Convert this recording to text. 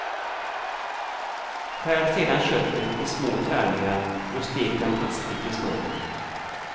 Skär sedan köttet i små tärningar och stek dem hastigt i smöret.